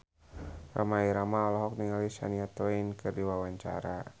Rhoma Irama olohok ningali Shania Twain keur diwawancara